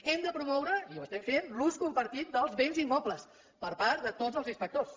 hem de promoure i ho estem fent l’ús compartit dels béns immobles per part de tots els inspectors